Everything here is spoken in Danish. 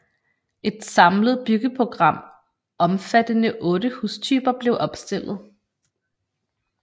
Et samlet byggeprogram omfattende 8 hustyper blev opstillet